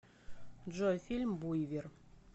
джой фильм буйвер